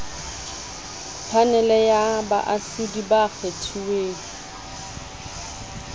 phanele ya baahlodi ba kgethuweng